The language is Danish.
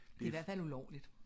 Det er i hvert fald ulovligt